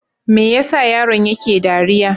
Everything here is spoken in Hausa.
Me ya sa yaron yake dariya?